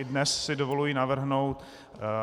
I dnes si dovoluji navrhnout